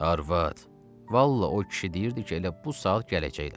Arvad, vallah o kişi deyirdi ki, elə bu saat gələcəklər.